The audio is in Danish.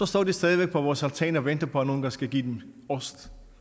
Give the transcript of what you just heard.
står de stadig væk på vores altan og venter på er nogle der skal give dem ost